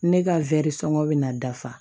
Ne ka sɔngɔ bɛ na dafa